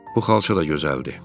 Bu xalça da gözəldir.